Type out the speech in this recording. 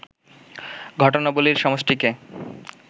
ঘটনাবলীর সমষ্টিকে